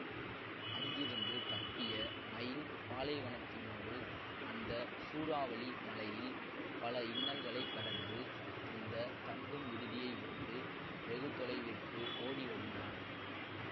அங்கிருந்து தப்பிய மைன் பாலைவனத்தினோடு அந்த சூறாவளி மழையில் பல இன்னல்களை கடந்து அந்த தங்கும் விடுதியை விட்டு வெகுதொலைவிற்கு ஓடி வருகிறான்